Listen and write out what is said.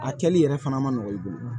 A kɛli yɛrɛ fana ma nɔgɔ i bolo